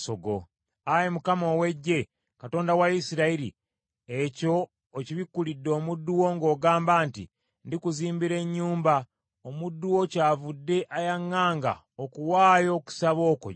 “Ayi Mukama ow’Eggye, Katonda wa Isirayiri, ekyo okibikkulidde omuddu wo ng’ogamba nti, ‘Ndikuzimbira ennyumba,’ omuddu wo kyavudde ayaŋŋanga okuwaayo okusaba okwo gy’oli.